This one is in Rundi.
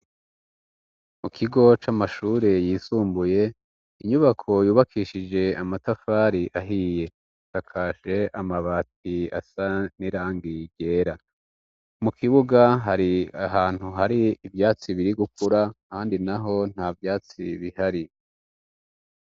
Mu kigo c'amashure yisumbuye inyubako yubakishije amatafari ahiye takashe amabati asa nirangigera mu kibuga hari ahantu hari ivyatsi biri gukura, kandi na ho nta vyatsi bihari.